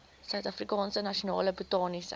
suidafrikaanse nasionale botaniese